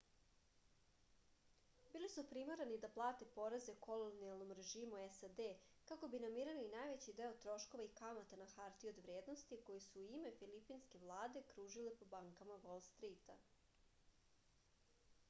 bili su primorani da plate poreze kolonijalnom režimu sad kako bi namirili najveći deo troškova i kamata na hartije od vrednosti koje su u ime filipinske vlade kružile po bankama vol strita